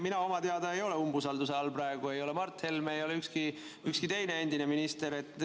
Mina oma teada ei ole praegu umbusalduse all, ei ole ka Mart Helme ega ükski teine endine minister.